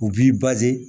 U b'i